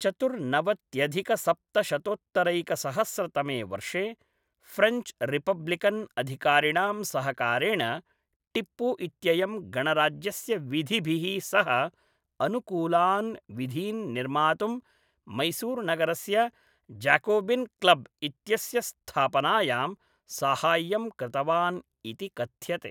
चतुर्नवत्यधिकसप्तशतोत्तरैकसहस्रतमे वर्षे, French republican अधिकारिणां सहकारेण, टिप्पु इत्ययं गणराज्यस्य विधिभिः सह अनुकूलान् विधीन् निर्मातुं मैसूरुनगरस्य जाकोबिन् क्लब् इत्यस्य स्थापनायां साहाय्यं कृतवान् इति कथ्यते।